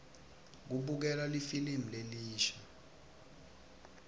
kubukelwa lifilimu lelisha